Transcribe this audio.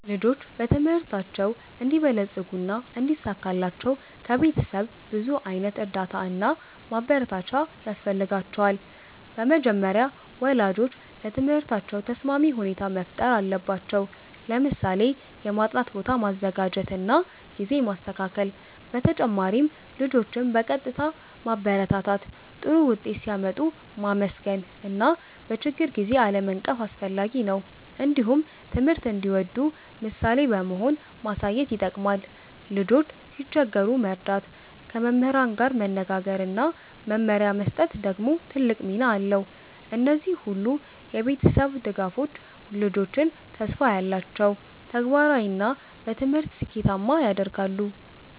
ልጆች በትምህርታቸው እንዲበለጽጉና እንዲሳካላቸው ከቤተሰብ ብዙ ዓይነት እርዳታ እና ማበረታቻ ያስፈልጋቸዋል። በመጀመሪያ ወላጆች ለትምህርታቸው ተስማሚ ሁኔታ መፍጠር አለባቸው፣ ለምሳሌ የማጥናት ቦታ ማዘጋጀት እና ጊዜ ማስተካከል። በተጨማሪም ልጆችን በቀጥታ ማበረታታት፣ ጥሩ ውጤት ሲያመጡ ማመስገን እና በችግር ጊዜ አለመናቀፍ አስፈላጊ ነው። እንዲሁም ትምህርት እንዲወዱ ምሳሌ በመሆን ማሳየት ይጠቅማል። ልጆች ሲቸገሩ መርዳት፣ ከመምህራን ጋር መነጋገር እና መመሪያ መስጠት ደግሞ ትልቅ ሚና አለው። እነዚህ ሁሉ የቤተሰብ ድጋፎች ልጆችን ተስፋ ያላቸው፣ ተግባራዊ እና በትምህርት ስኬታማ ያደርጋሉ።